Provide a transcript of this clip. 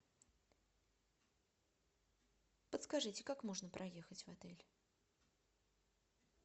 подскажите как можно проехать в отель